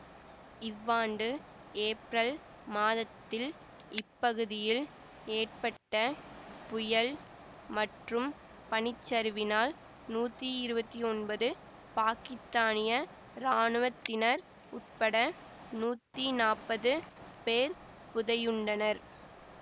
இவ்வாண்டு ஏப்ரல் மாதத்தில் இப்பகுதியில் ஏற்பட்ட புயல் மற்றும் பனிச்சரிவினால் நூத்தி இருவத்தி ஒன்பது பாக்கித்தானிய இராணுவத்தினர் உட்பட நூத்தி நாப்பது பேர் புதையுண்டனர்